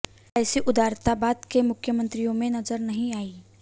ऐसी उदारता बाद के मुख्यमंत्रियों में नजर नहीं आयी